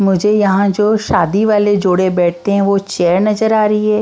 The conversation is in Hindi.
मुझे यहां जो शादी वाले जोड़े बैठते हैं वो चेयर नजर आ रही है।